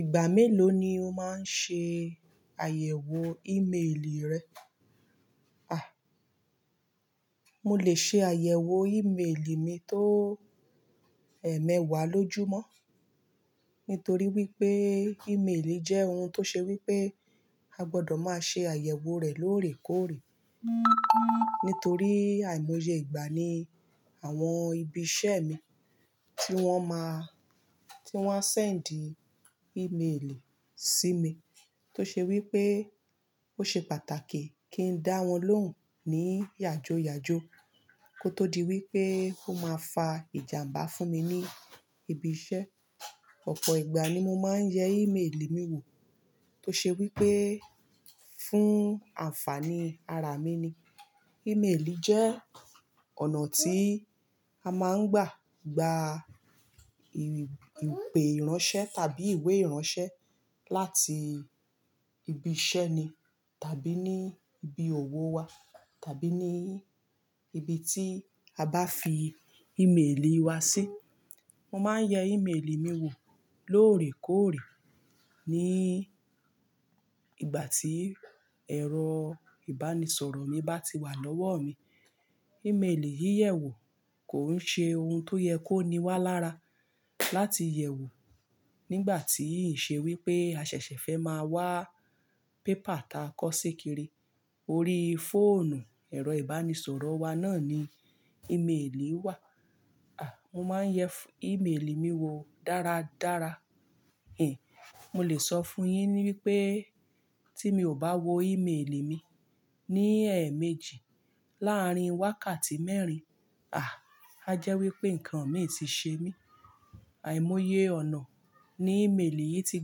Ìgbà mélòó ni o máa ń ṣe àyẹ̀wò ìméèlì rẹ? A! Mo lè ṣe àyẹ̀wò ìméèlì mi tó ẹ̀ẹmẹ̀wà lójùmọ́. Nítorí wípé ìméèlì jẹ́ ohun tó ṣe wípé a gbọdọ̀ máa ṣe àyẹ̀wò rẹ̀ lóòrèkóòrè. Nítorí àìmọye ìgbà ní àwọn ibi iṣẹ́ mi tí wọ́n máa-- tí wọ́n a ṣẹ̀ndì ìméèlì sí mi. Tó ṣe wípé ó ṣe pàtàkì kí n dá wọn lóhùn ní yàjoyàjo kó tó di wípé ó máa fa ìjàmbá fún mi ní ibi iṣẹ́. Ọ̀pọ̀ ìgbà ni mo máa ń yẹ ìméèlì mi wò. Tó ṣe wípé fún ànfàní ara mi ni. Ìméèlì jẹ́ ọ̀nà tí a máa ń gbà gba ìpe ìránṣẹ́ tàbí ìwé ìránṣẹ́ láti ibi iṣẹ́ ni tàbí ní ibi òwò wa tàbí ní ibi tí a bá fi ìméèlì wa sí. Mo máa ń yẹ ìméèlì mi wò lóòrèkóòrè ní ìgbà tí ẹ̀rọ ìbánisọ̀rọ̀ mi bá ti wà lọ́wọ́ mi. Ìméèlì yíyẹ̀wò kò ń ṣe ohun tó yẹ kó ní wà lára láti yẹ̀wò nígbà tí ì ṣe wípé a ṣẹ̀ṣẹ̀ fẹ́ máa wá pépà ta kọ́ sé kiri. Orí fóònù ẹ̀rọ ìbánisọ̀rọ̀ wa náà ni ìméèlì wà. Mo máa ń yẹ ìméèlì mi wo dáradára. Mo lè sọ fún yin ni wípé tí mi ò bá wo ìméèlì mi ní ẹ̀ẹ̀méjì láàrin wákàtí mẹ́rin, a! A jẹ́ wípé ǹkan mìí ti ṣe mí. Àìmọye ọ̀nà ni ìméèlì yìí ti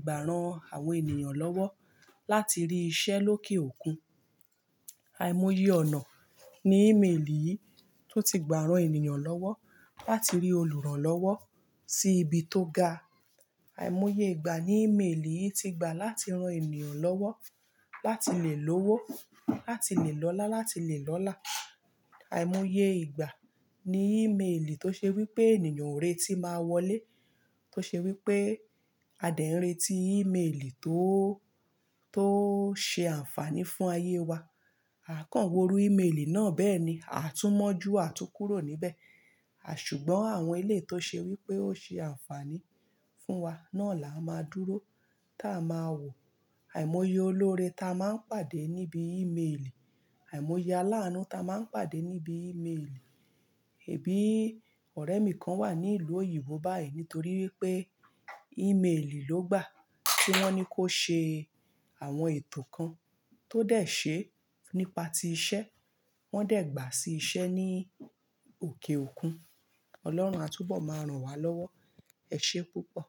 gbà ran àwọn ènìyàn lọ́wọ́ láti rí iṣẹ́ lókè òkun. Àìmọye ọ̀nà ni ìméèlì yìí tó ti gbà ran ènìyàn lọ́wọ́ láti rí olùrànlọ́wọ́ sí ibi tó ga. Àìmọye ìgbà ni ìméèlì yìí ti gbà láti ran ènìyàn lọ́wọ́, láti lè lówó, láti lè lọ́lá, láti lè lọ́là. Àìmọye ìgbà ni ìméèlì tó ṣe wípé ènìyàn o retí máa wọlé. Tó ṣe wípé a dẹ̀ n retí ìméèlì tó, tó ṣe ànfàní fún ayé wa. A kàn wò iru ìméèlì náà bẹ́ẹ̀ni, a tú mọ̀ju a tú kúrò níbẹ̀. Ṣùgbọ́n àwọn eleyi tó ṣe wípé ó ṣe ànfàní fún wa náà là a máa dúró tá a máa wò. Àìmọye olóore ta máa ń pàdé níbi ìméèlì. Àìmọye alánú ta máa ń pàdé níbi ìméèlì. E bi ọ̀rẹ́ mi kan wà ní ìlú òyìnbó báyìí nítorí wípé ìméèlì ló gbà tí wọ́n ní kó ṣe àwọn ètò kan tó dẹ̀ ṣe nípa ti iṣẹ́. Wọ́n dẹ̀ gbà sí iṣẹ́ ní òkè òkun. Ọlọ́run á túbọ̀ máa ran wá lọ́wọ́. Ẹ̀ ṣe púpọ̀.